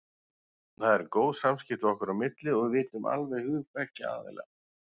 Það eru góð samskipti okkar á milli og við vitum alveg hug beggja aðila.